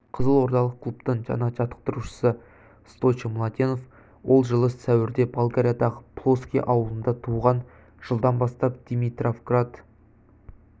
қызылордалық клубтың жаңа жаттықтырушысы стойчо младенов ол жылы сәуірде болгариядағы плоски ауылында туған жылдан бастап димитровград